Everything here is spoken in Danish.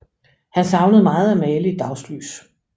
Han savnede meget at male i dagslys